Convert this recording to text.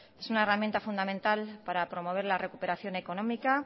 es una herramienta fundamental para promover la recuperación económica